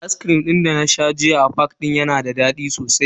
Ascrim din dana sha jiya a fak yayi dadi sosai.